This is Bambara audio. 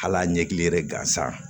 Hal'a ɲɛkili yɛrɛ gansan